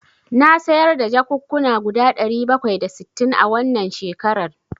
Na sayar da jakukkuna guda ɗari bakwai da sittin a wannan shekaran.